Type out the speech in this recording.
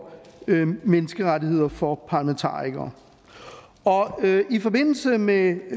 menneskerettigheder for parlamentarikere og i forbindelse med